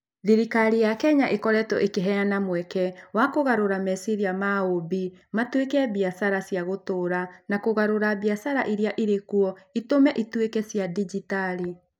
Thirikari ya Kenya ĩkoretwo ĩkĩheana mweke wa kũgarũra meciiria ma ũũmbi matuĩke biacara cia gũtũũra na kũgarũra biacara iria irĩ kuo itũme ĩtuĩke cia digitali.